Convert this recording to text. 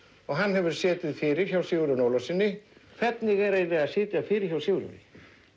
og hann hefur setið fyrir hjá Sigurjóni Ólafssyni hvernig er eiginlega að sitja fyrir hjá Sigurjóni